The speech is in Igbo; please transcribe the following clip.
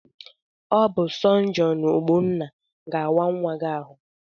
Ọ bụ sọjọn Ogbonna ga-awa nwa gị ahụ.